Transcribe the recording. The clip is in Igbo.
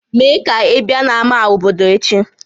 Mee ka ị bịa n'ámá obodo echi!